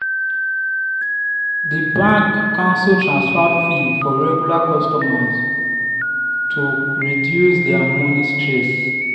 the bank cancel transfer fee for regular customers to reduce their money stress.